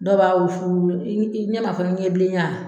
Dɔw b'a wusu, i ne ma fɔ ko ɲɛbilenya